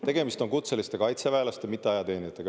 Tegemist on kutseliste kaitseväelastega, mitte ajateenijatega.